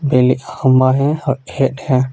हमा है और खेत है.